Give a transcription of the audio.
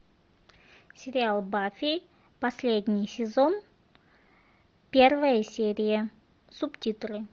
сериал баффи последний сезон первая серия субтитры